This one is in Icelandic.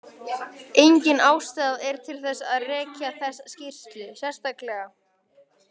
Engin ástæða er til að rekja þessa skýrslu sérstaklega.